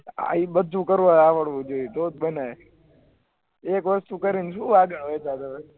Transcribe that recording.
આવી બધું કરવુ આવડવું જોયીયે તો જ ગણાય એક વસ્તુ કરી ને શું વાગ આવે